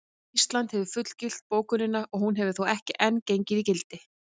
Ísland hefur fullgilt bókunina en hún hefur þó ekki enn gengið í gildi.